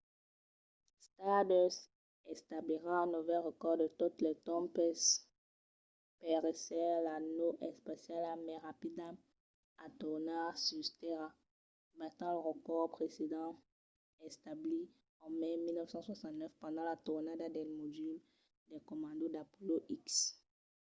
stardust establirà un novèl recòrd de totes los tempses per èsser la nau espaciala mai rapida a tornar sus tèrra batent lo recòrd precedent establit en mai de 1969 pendent la tornada del modul de comanda d'apollo x